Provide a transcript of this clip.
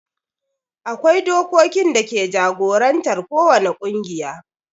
akwai dokokin dake jagorantar ko wani ƙungiya